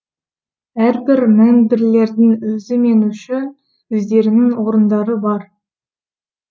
әрбір мэмбірлердің өзі мен үшін өздерінің орындары бар